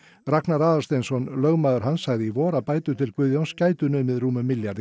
Ragnar Aðalsteinsson lögmaður hans sagði í vor að bætur til Guðjóns gætu numið rúmum milljarði